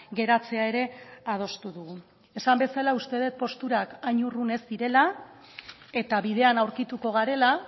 geratzea ere adostu dugu esan bezala uste det posturak hain urrun ez direla eta bidean aurkituko garela